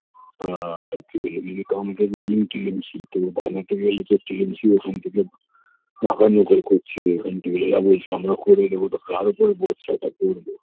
আ কে যদি accounting জিম টি এম সি তো বানাতে গেলে তো টি এম সি ওখান থেকে নাকাই নোকাই করছে এখান থেকে এরা বলছে আমরা করে দেব তো কার ওপর ভরসা টা করবো